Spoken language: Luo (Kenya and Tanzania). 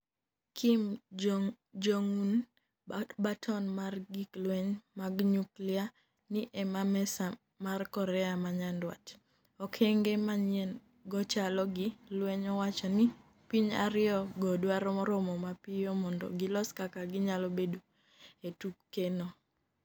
Kim Jong-un: Baton mar gik lweny mag nyuklia ni e mesa mara Korea ma Nyanduat: Okenge manyien go chalo gi lweny Owacho ni piny ariyo go dwaro romo mapiyo mondo gilos kaka ginyalo bedo e tuke no.